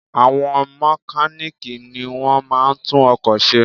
Àwọn mekáníìkì ni wọ́n máa ń tún ọkò se